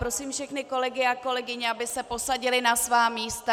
Prosím všechny kolegy a kolegyně, aby se posadili na svá místa.